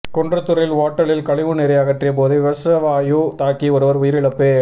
குன்றத்தூரில் ஓட்டலில் கழிவுநீரை அகற்றிய போது விஷவாயு தாக்கி ஒருவர் உயிரிழப்பு